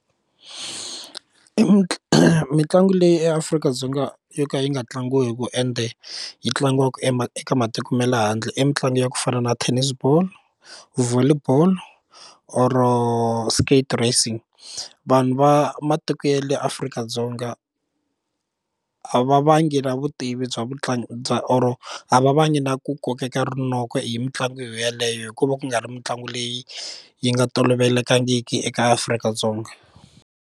mitlangu leyi eAfrika-Dzonga yo ka yi nga tlangiwiku ende yi tlangiwaka eka matiko ma le handle i mitlangu ya ku fana na tennis ball, volley ball or skate racing vanhu va matiko ya le Afrika-Dzonga a va vangi na vutivi bya vutlangi bya or a va vangi na ku kokeka rinoko hi mitlangu yoyeleyo hikuva ku nga ri mitlangu leyi yi nga tolovelekangiki eka Afrika-Dzonga.